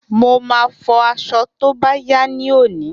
Mo máa fọ aṣọ tó bá yá ní òní